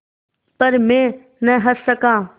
पर मैं न हँस सका